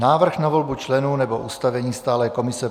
Návrh na volbu členů nebo ustavení stálé komise